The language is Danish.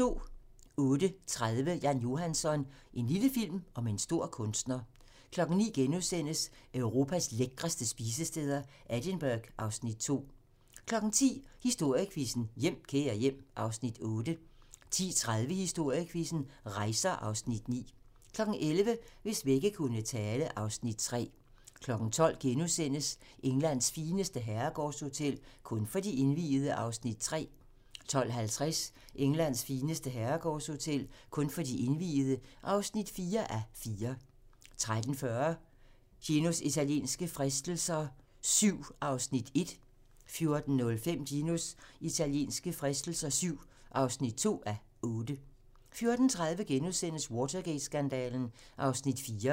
08:30: Jan Johansson - en lille film om en stor kunstner 09:00: Europas lækreste spisesteder - Edinburgh (Afs. 2)* 10:00: Historiequizzen: Hjem, kære hjem (Afs. 8) 10:30: Historiequizzen: Rejser (Afs. 9) 11:00: Hvis vægge kunne tale (Afs. 3) 12:00: Englands fineste herregårdshotel - kun for de indviede (3:4)* 12:50: Englands fineste herregårdshotel - kun for de indviede (4:4) 13:40: Ginos italienske fristelser VII (1:8) 14:05: Ginos italienske fristelser VII (2:8) 14:30: Watergate-skandalen (Afs. 4)*